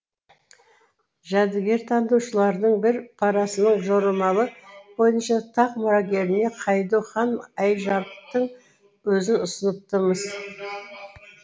жәдігертанушылардың бір парасының жорамалы бойынша тақ мұрагеріне хайду хан айжарықтың өзін ұсыныпты мыс